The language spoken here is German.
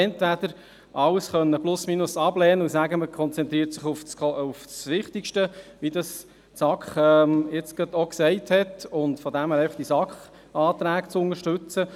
Entweder hätte man alles plus-minus ablehnen und sich auf das Wichtigste konzentrieren können, wie dies der SAK-Sprecher gerade gesagt hat, und einfach die SAK-Anträge unterstützen.